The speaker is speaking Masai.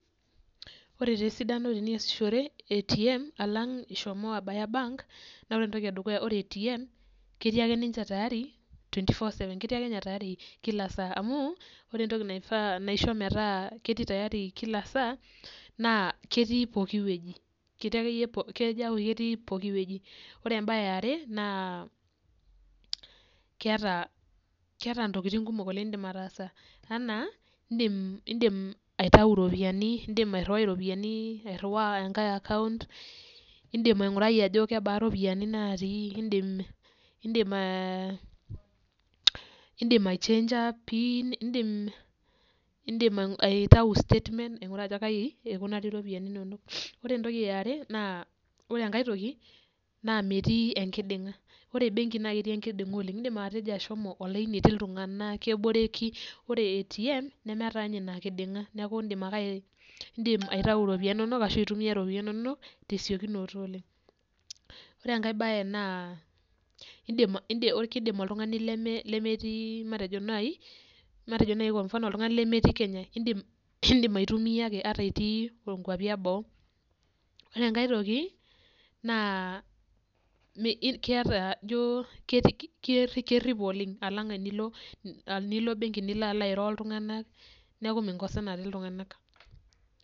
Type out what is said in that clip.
Wore taa esidano teniasishore ATM alang ishomo abaya bank, naa wore entoki edukuya wore ATM ketii ake ninche tayari twenty four o seven, ketii ake ninche tayari kila saa. Amu wore entoki naifaa naisho metaa ketii tayari kila saa, naa ketii poki wueji, ketii akeyie kejoo aaku ketii pooki wueji. Wore embaye eare naa, keata intokitin kumok oleng' niidim ataasa enaa iindim aitayu iropiyani, iindim airruwai iropiyani, airriwaa enkae account, iindim aingurai ajo kebaa iropiyani naatii iindim ai change a pin, iindim aitayu statement ainguraa ajo kai ikunari iropiyani inonok. Wore entoki eare naa, wore enkae toki naa metii enkidinga. Wore ebenki naa ketii enkidinga oleng'. Iindim ashomo olaini etii iltunganak, keboreki, wore etii ATM nemeeta ninye inia kidinga. Neeku iindim ake, iindim aitayu iropiyani inonok ashu intumiyia iropiyani inonok tesiokunoto oleng'. Wore enkae baye naa iindim keidim oltungani lemetii matejo nai kwa mfano oltungani lemetii Kenya, iindim aitumia ake ata itii inkuapi eboo. Wore enkae toki naa iindim, keeta ijoo kerripo oleng' alang enilo ebenki nilo alo airo oltunganak, neeku minkosanare iltunganak.